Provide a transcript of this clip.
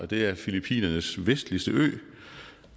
det er filippinernes vestligste ø